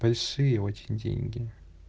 большие очень деньги